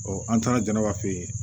an taara janaba fɛ